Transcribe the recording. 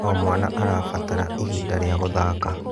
O mwana arabatara ihinda rĩa gũthaka.